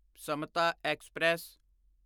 Samta express